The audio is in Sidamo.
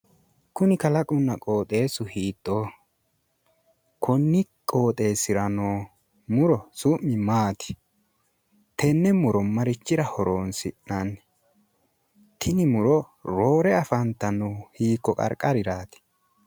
Kuni kalaqunna qooxeessu hiittooho? Konni qoxxeessira noo muro su'mi maati? Tenne muro marichira horoonsi'nanni? Tini muro roore afantannohu hiikko qarqariraati?